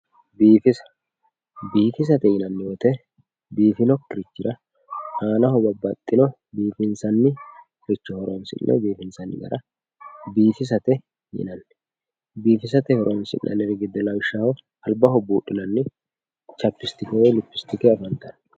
Biifissa, biifissate yinanni woyte biifinokkirichira aanaho babbaxxino biifinsanniricho horonsi'ne biifissate yinanni ,biifissate horonsi'nanniri giddo lawishshaho albaho buudhinanni chapistike biifisi'nannitta ikkittano.